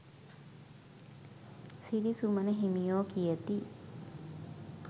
සිරිසුමන හිමියෝ කියති.